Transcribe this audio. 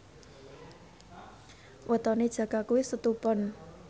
wetone Jaka kuwi Setu Pon